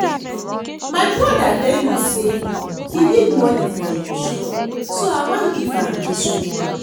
My brother tell me say he need money for im shop so I wan give am dis one